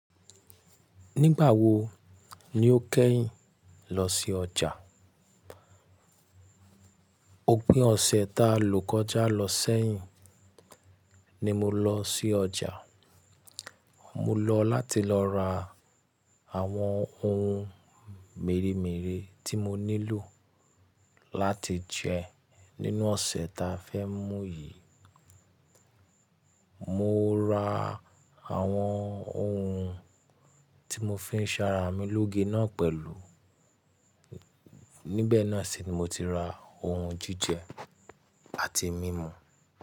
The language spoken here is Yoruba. Nígbà wo ni o kẹ́yìn lọ sí ọjà? Ó pín ọ̀sẹ̀ ta ló kọjá lọ sẹ́yìn ni mo lọ sí ọjà. Mo lọ láti lọ ra àwọn ohun mèremère tí mo nílò láti jẹ nínú ọ̀sẹ̀ ta fẹ́ mú yìí. Mo ra àwọn ohun tí mo fi ń ṣara mi lóge náà pẹ̀lú, níbẹ̀ náà sì ni mo ti ra ohun jíjẹ àti mímu.